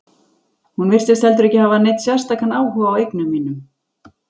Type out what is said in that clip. Hún virtist heldur ekki hafa neinn sérstakan áhuga á eigum mínum.